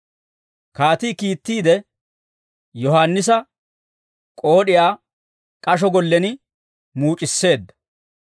Kaatii kiittiide, Yohaannisa k'ood'iyaa k'asho gollen muuc'isseedda.